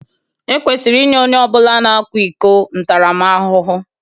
Ekwesịrị inye onye ọ bụla na-akwa iko ntaramahụhụ